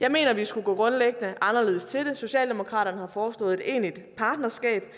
jeg mener vi skulle gå grundlæggende anderledes til det socialdemokratiet har foreslået et egentligt partnerskab